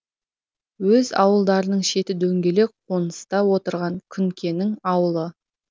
өз ауылдарының шеті дөңгелек қоныста отырған күнкенің ауылы